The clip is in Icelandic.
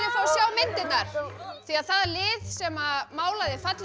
að sjá myndirnar því það lið sem málaði fallegri